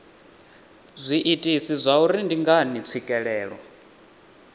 zwiitisi zwauri ndi ngani tswikelelo